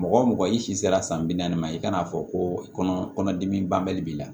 Mɔgɔ mɔgɔ i sera san bi naani ma i kan'a fɔ ko kɔnɔ kɔnɔdimi banbali b'i la